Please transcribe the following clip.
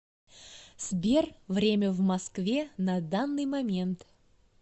сбер время в москве на данный момент